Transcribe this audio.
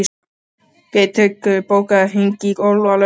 Geirtryggur, bókaðu hring í golf á laugardaginn.